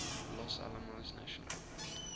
los alamos national